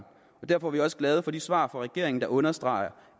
derfor er vi også glade for de svar fra regeringen der understreger